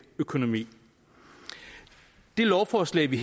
økonomi det lovforslag vi